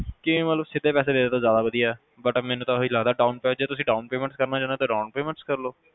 ਕੇ ਮਤਲਬ ਸਿਧੇ ਪੈਸੇ ਦੇਦੋ ਜ਼ਿਆਦਾ ਵਧੀਆ ਆ but ਮੈਨੂੰ ਤਾਂ ਉਹੀ ਲੱਗਦਾ ਜੇ ਤੁਸੀਂ down payment ਕਰਨਾ ਚਾਹੰਦੇ down payment ਤਾ ਕਰਲੋ